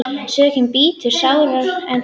Sökin bítur sárara en tönnin.